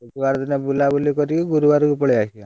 ବୁଧବାର ଦିନ ବୁଲାବୁଲି କରିକି ଗୁରୁବାରକୁ ପଳେଇ ଆସିବା।